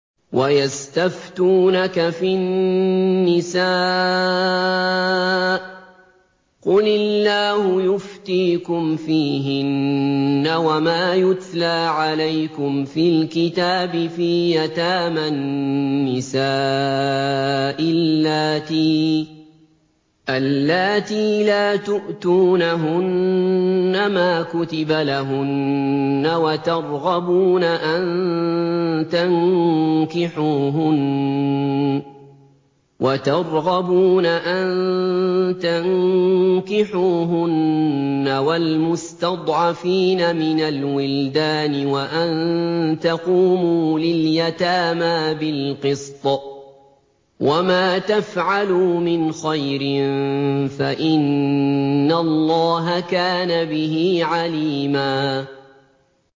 وَيَسْتَفْتُونَكَ فِي النِّسَاءِ ۖ قُلِ اللَّهُ يُفْتِيكُمْ فِيهِنَّ وَمَا يُتْلَىٰ عَلَيْكُمْ فِي الْكِتَابِ فِي يَتَامَى النِّسَاءِ اللَّاتِي لَا تُؤْتُونَهُنَّ مَا كُتِبَ لَهُنَّ وَتَرْغَبُونَ أَن تَنكِحُوهُنَّ وَالْمُسْتَضْعَفِينَ مِنَ الْوِلْدَانِ وَأَن تَقُومُوا لِلْيَتَامَىٰ بِالْقِسْطِ ۚ وَمَا تَفْعَلُوا مِنْ خَيْرٍ فَإِنَّ اللَّهَ كَانَ بِهِ عَلِيمًا